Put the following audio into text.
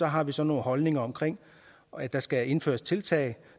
har vi så nogle holdninger om at der skal indføres tiltag